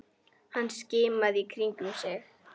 Hann skimaði í kringum sig.